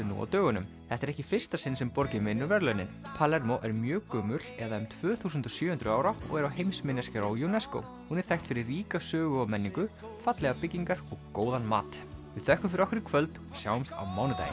nú á dögunum þetta er ekki í fyrsta sinn sem borgin vinnur verðlaunin Palermo er mjög gömul eða um tvö þúsund og sjö hundruð ára og er á heimsminjaskrá UNESCO hún er þekkt fyrir ríka sögu og menningu fallegar byggingar og góðan mat við þökkum fyrir okkur í kvöld sjáumst á mánudaginn